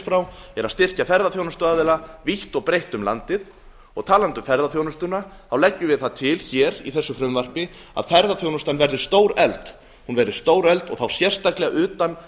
frá eru að styrkja ferðaþjónustuaðila vítt og breitt um landið og talandi um ferðaþjónustuna leggjum við það til í þessu frumvarpi að ferðaþjónustan verði stórefld og þá sérstaklega utan